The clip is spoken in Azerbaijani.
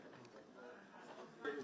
Amma sən bilirsən ki, sən Azərbaycanda.